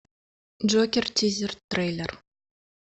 джокер тизер трейлер